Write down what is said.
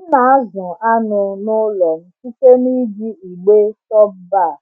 M na-azụ anụ n’ụlọ m site n’iji igbe top-bar